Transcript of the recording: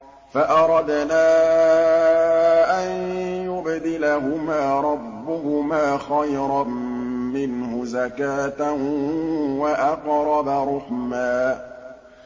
فَأَرَدْنَا أَن يُبْدِلَهُمَا رَبُّهُمَا خَيْرًا مِّنْهُ زَكَاةً وَأَقْرَبَ رُحْمًا